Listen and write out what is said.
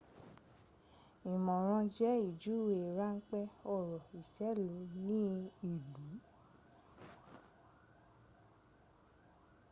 ìmọ̀ran jẹ̀ ìjúwé ránpé ọ̀rọ̀ òṣèlú ní ìlú